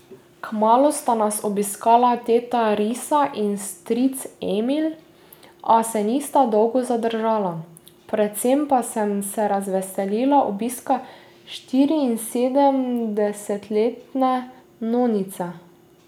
Kmalu sta nas obiskala teta Risa in stric Emil, a se nista dolgo zadržala, predvsem pa sem se razveselil obiska štiriinsedemdesetletne nonice.